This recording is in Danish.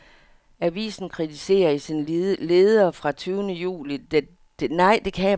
Avisen kritiserer i sin leder fra den tyvende juli det danske olieberedskab for at være for svagt og utilstrækkeligt.